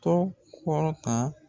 Tɔ kɔrɔtan